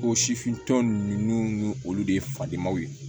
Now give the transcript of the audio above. O sifintɔ ninnu n'olu de ye faden ma ye